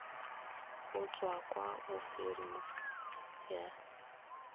go tswa kwa ofising ya